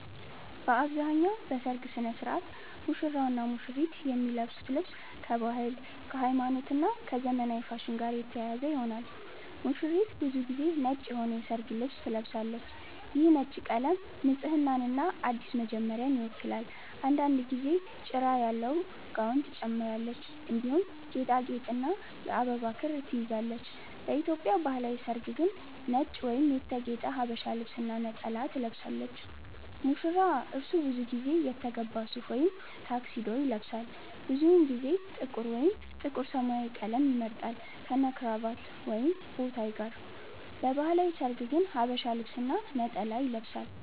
በአብዛኛው በሠርግ ሥነ ሥርዓት ሙሽራውና ሙሽሪት የሚለብሱት ልብስ ከባህል፣ ከሃይማኖት እና ከዘመናዊ ፋሽን ጋር የተያያዘ ይሆናል። ሙሽሪት ብዙ ጊዜ ነጭ የሆነ የሠርግ ልብስ ትለብሳለች። ይህ ነጭ ቀለም ንጽህናንና አዲስ መጀመሪያን ይወክላል። አንዳንድ ጊዜ ጭራ ያለው ጋውን ትጨምራለች፣ እንዲሁም ጌጣጌጥና የአበባ ክር ትይዛለች። በኢትዮጵያ ባህላዊ ሠርግ ግን ነጭ ወይም የተጌጠ ሀበሻ ልብስ እና ነጠላ ትለብሳለች። ሙሽራ : እርሱ ብዙ ጊዜ የተገባ ሱፍ ወይም ታክሲዶ ይለብሳል። ብዙውን ጊዜ ጥቁር ወይም ጥቁር-ሰማያዊ ቀለም ይመርጣል፣ ከነክራቫት ወይም ቦታይ ጋር። በባህላዊ ሠርግ ግን ሐበሻ ልብስ እና ነጠላ ይለብሳል።